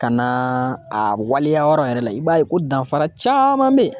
Ka na a waleya yɔrɔ yɛrɛ la, i b'a ye ko danfara caman be yen.